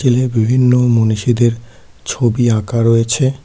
বিভিন্ন মনীষীদের ছবি আঁকা রয়েছে।